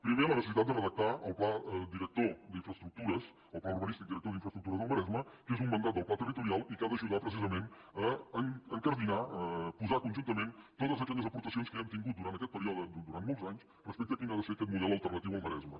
primer la necessitat de redactar el pla director d’infraestructures el pla urbanístic director d’infraestructures del maresme que és un mandat del pla territorial i que ha d’ajudar precisament a incardinar a posar conjuntament totes aquelles aportacions que ja hem tingut durant aquest període durant molts anys respecte a quin ha de ser aquest model alternatiu al maresme